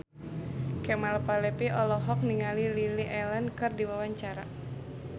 Kemal Palevi olohok ningali Lily Allen keur diwawancara